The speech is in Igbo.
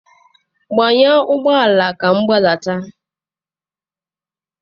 Gbanyụọ ụgbọ ala ka anyị gbadata!